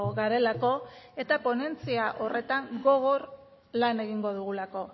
garelako eta ponentzia horretan gogor lan egingo dugulako